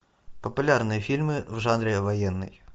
популярные фильмы в жанре военный